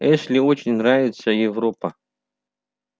эшли очень нравится европа